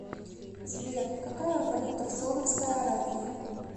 сбер какая валюта в саудовской аравии